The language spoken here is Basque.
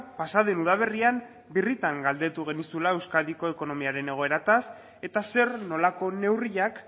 pasa den udaberrian birritan galdetu genizula euskadiko ekonomiaren egoeraz eta zer nolako neurriak